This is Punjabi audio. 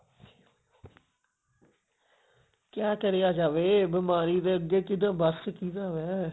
ਕਿਆ ਕਰਿਆ ਜਾਵੇ ਬਿਮਾਰੀ ਦੇ ਅੱਗੇ ਕਿਦਾ ਬਸ ਕਿਦਾ ਵੈ